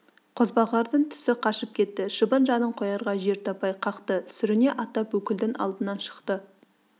қозбағардың түсі қашып кетті шыбын жанын қоярға жер таппай қақты сүріне аттап өкілдің алдынан шықты